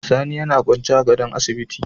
Sani yAna kwance a gadon asibiti